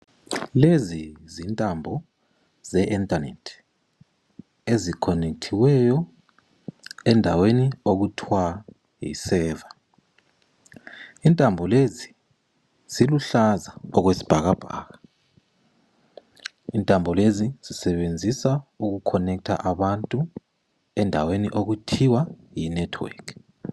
Lezi zintambo ,ze internet ezikhonethiweyo endaweni okuthwa yi server. Intambo lezi ziluhlaza okwesibhakabhaka, intambo lezi zisebenzisa uku connecter abantu endaweni okuthiwa yi network.